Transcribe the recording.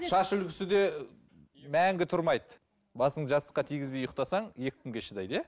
шаш үлгісі де мәңгі тұрмайды басыңды жастыққа тигізбей ұйықтасаң екі күнге шыдайды иә